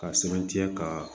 K'a sɛbɛntiya ka